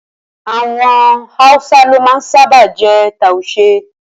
Awọn awusa lo ma sábà je tuashe